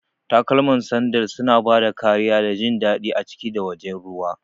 Takalma kamar sandal suna ba da kariya da jin daɗi a ciki da wajen ruwa.